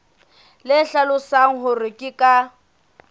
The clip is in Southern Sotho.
le hlalosang hore ke ka